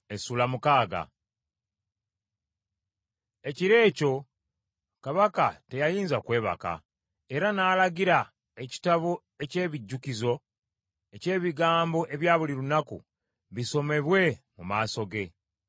Ekiro ekyo Kabaka teyayinza kwebaka; era n’alagira ekitabo eky’ebijjukizo eky’ebigambo ebya buli lunaku, bisomebwe mu maaso ge.